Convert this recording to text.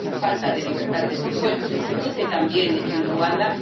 La falta de libertad de expresión se produce también en Ruanda.